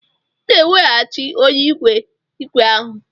Ị ga-eweghachi onye nwe ígwè ahụ!